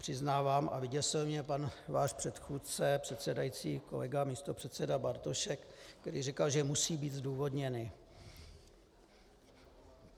Přiznávám a vyděsil mě váš pan předchůdce, předsedající kolega místopředseda Bartošek, který říkal, že musí být zdůvodněny.